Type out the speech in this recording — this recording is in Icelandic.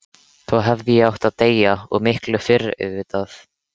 Þá hefði ég átt að deyja, og miklu fyrr auðvitað.